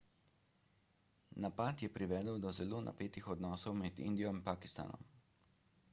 napad je privedel do zelo napetih odnosov med indijo in pakistanom